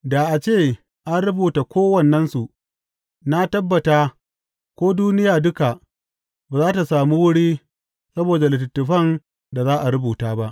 Da a ce an rubuta kowannensu, na tabbata ko duniya duka ba za tă sami wuri saboda littattafan da za a rubuta ba.